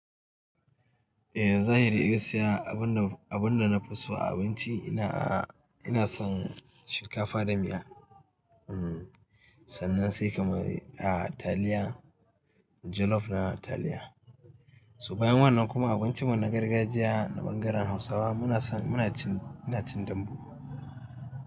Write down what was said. Eh zahiri gaskiya abunda abun da, abun da na fi so a abinci ina a ina son shinkafa da miya. Sannan sai kamar a taliya, jollof na taliya. Su bayan wannan kuma a wancan na gargajiya na ɓangaren Hausawa muna son muna cin ina cin dambu.